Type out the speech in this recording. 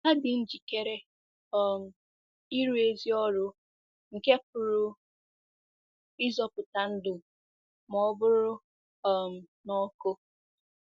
Ha dị njikere um ịrụ ezi ọrụ nke pụrụ ịzọpụta ndụ ma ọ bụrụ um na ọkụ.